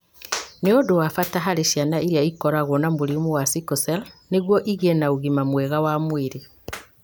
nĩ ũndũ wa bata harĩ ciana iria ikoragwo na mũrimũ wa sickle cell nĩguo igĩe na ũgima mwega wa mwĩrĩ.